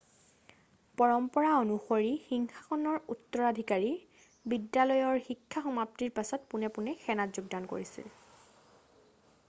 পৰম্পৰা অনুসৰি সিংহাসনৰ উত্তৰাধিকাৰী বিদ্যালয়ৰ শিক্ষা সমাপ্তিৰ পিছত পোনে পোনে সেনাত যোগদান কৰিছিল